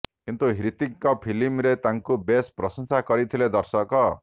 କିନ୍ତୁ ହ୍ରିତିକ୍ଙ୍କ ଫିଲ୍ମରେ ତାଙ୍କୁ ବେଶ୍ ପ୍ରଶଂସା କରିଥିଲେ ଦର୍ଶକ